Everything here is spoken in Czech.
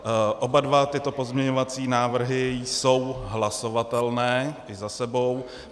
Oba dva tyto pozměňovací návrhy jsou hlasovatelné i za sebou.